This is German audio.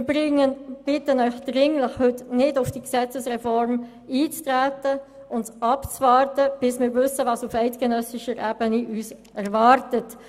Wir bitten Sie heute dringlich, nicht auf diese Gesetzesreform einzutreten und abzuwarten, was uns auf eidgenössischer Ebene erwartet.